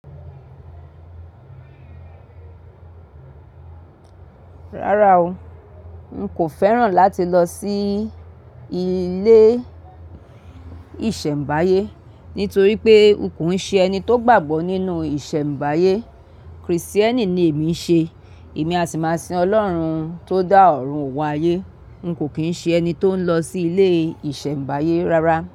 Rárá o, n kò fẹ́ràn láti lọ sí ilé ìsẹ̀mbáyé nítorí pé n kò ṣe ẹni tó gbàgbọ́ nínú ìsẹ̀mbáyé. Krìstíẹ́nì ni èmi ń ṣe, èmi a sì máa sin Ọlọ́run tó dá ọ̀run òun ayé. N kò kí ń ṣe ẹni tó ń lọ sí ilé ìsẹ̀mbáyé rárá.